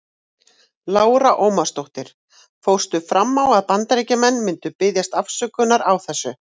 Lára Ómarsdóttir: Fórstu fram á að Bandaríkjamenn myndu biðjast afsökunar á þessu?